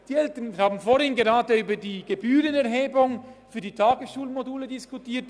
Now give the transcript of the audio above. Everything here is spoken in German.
Wir haben vorhin gerade über die Gebührenerhebung für die Tagesschulmodule diskutiert.